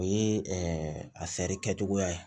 O ye a fɛɛrɛ kɛcogoya ye